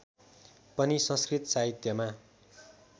पनि संस्कृत साहित्यमा